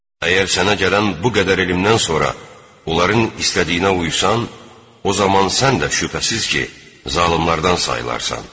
Əgər sənə gələn bu qədər elmdən sonra onların istədiyinə uysan, o zaman sən də şübhəsiz ki, zalımlardan sayılarsan.